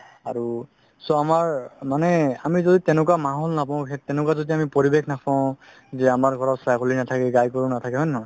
আৰু চুৱা আমাৰ আমি মানে আমি যদি তেনেকুৱা মাহল নাপাও তেনেকুৱা যদি আমি পৰিৱেশ নাপাও যে অমাৰ ঘৰত ছাগলি নাথাকে গাই গৰু নাথাকে হয় নে নহয়